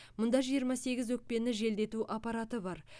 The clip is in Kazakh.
мұнда жиырма сегіз өкпені желдету аппараты бар